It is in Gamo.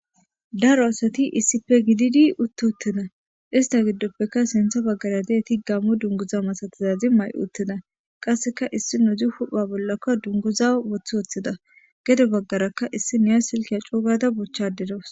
Daro asati issipe gididi utti uttida istappeka sontha bagara dizayti Gamo dunguza masatizazi mayo uttida qaseka issinazi hu'a bolla dunguza wothi wothida gede bagaraka issi Naya Silke coo gaada bochayde daws.